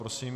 Prosím.